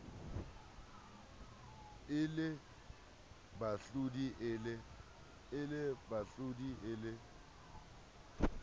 e le bahlodi e le